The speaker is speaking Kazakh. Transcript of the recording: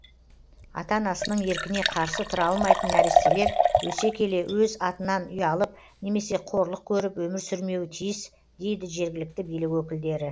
ата анасының еркіне қарсы тұра алмайтын нәрестелер өсе келе өз атынан ұялып немесе қорлық көріп өмір сүрмеуі тиіс дейді жергілікті билік өкілдері